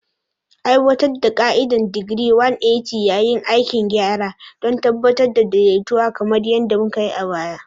Aiwatar da ka'idar digiri 180 yayin aikin gyara don tabbatar da daidaito kamar yadda mukai a baya.